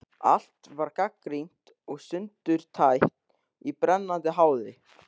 Allt var gagnrýnt og sundurtætt í brennandi háði.